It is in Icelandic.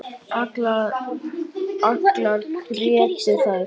Allar grétu þær.